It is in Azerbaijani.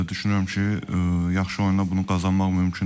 Düşünürəm ki, yaxşı oyunla bunu qazanmaq mümkündür.